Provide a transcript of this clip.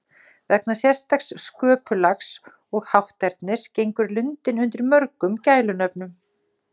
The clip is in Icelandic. Vegna sérstaks sköpulags og hátternis gengur lundinn undir mörgum gælunöfnum.